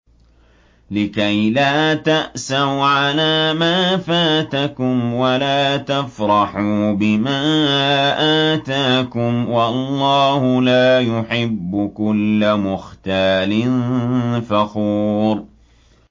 لِّكَيْلَا تَأْسَوْا عَلَىٰ مَا فَاتَكُمْ وَلَا تَفْرَحُوا بِمَا آتَاكُمْ ۗ وَاللَّهُ لَا يُحِبُّ كُلَّ مُخْتَالٍ فَخُورٍ